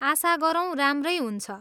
आशा गरौँ राम्रै हुन्छ।